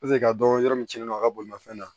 ka dɔn yɔrɔ min cɛnnen don a ka bolimafɛn na